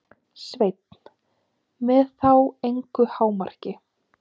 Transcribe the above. Sveinn: Með þá engu hámarki?